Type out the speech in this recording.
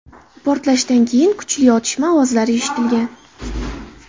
Portlashdan keyin kuchli otishma ovozlari eshitilgan.